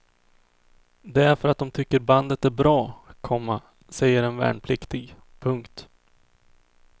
Det är för att dom tycker bandet är bra, komma säger en värnpliktig. punkt